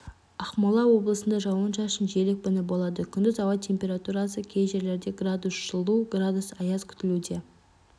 ақмола облысында жауын-шашын жел екпіні болады күндіз ауа температурасы кей жерлерде градус жылу градус аяз күтілуде